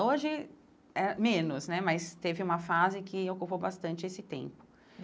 Hoje, eh menos né, mas teve uma fase que ocupou bastante esse tempo.